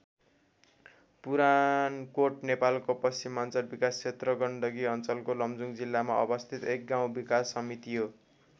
पुरानकोट नेपालको पश्चिमाञ्चल विकास क्षेत्र गण्डकी अञ्चलको लमजुङ जिल्लामा अवस्थित एक गाउँ विकास समिति हो।